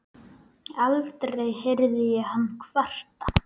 Aldrei heyrði ég hann kvarta.